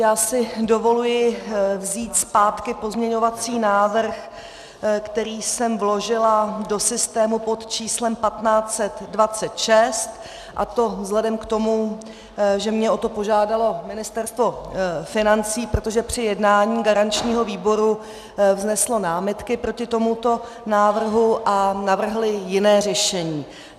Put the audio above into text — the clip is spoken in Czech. Já si dovolují vzít zpátky pozměňovací návrh, který jsem vložila do systému pod číslem 1526, a to vzhledem k tomu, že mě o to požádalo Ministerstvo financí, protože při jednání garančního výboru vzneslo námitky proti tomuto návrhu, a navrhli jiné řešení.